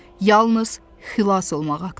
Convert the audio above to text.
Yalnız xilas olmaq haqda.